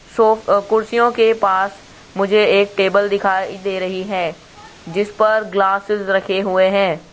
सो कुर्सियों के पास मुझे एक टेबल दिखाई दे रही है जिस पर ग्लासेज रखे हुए हैं।